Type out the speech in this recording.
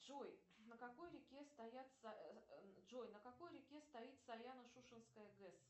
джой на какой реке стоят джой на какой реке стоит саяно шушенская гэс